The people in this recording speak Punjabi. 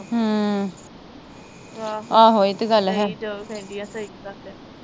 ਹਮ ਆਹੋ, ਇਹ ਤੇ ਗੱਲ ਹੈ।